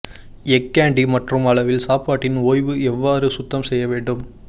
எஃகு கெண்டி மற்றும் அளவில் சாப்பாட்டின் ஓய்வு எவ்வாறு சுத்தம் செய்ய வேண்டும்